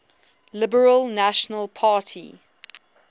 liberal national party